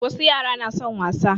Wasu yara na son wasa